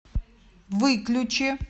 выключи